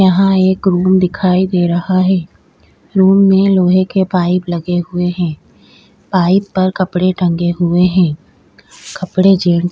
यहा एक रूम दिखाई दे रहा है रूम में लोहे के पाइप लगे हुए हैं पाइप पर कपड़े टंगे हुए हैं कपड़े जेंट्स --